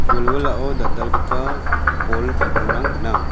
wilwilao dal·dalgipa bol bipangrang gnang.